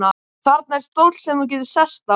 Þarna er stóll sem þú getur sest á.